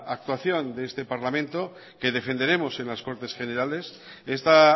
actuación de este parlamento que defenderemos en las cortes generales esta